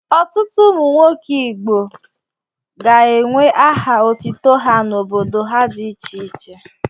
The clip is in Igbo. Ọtụtụ ụmụnwoke Igbo ga-ewere aha otutu ha n'obodo ha dị iche iche.